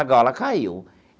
A gaiola caiu.